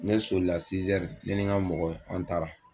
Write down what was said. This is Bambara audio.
Ne solila ne ni n ka mɔgɔw an taara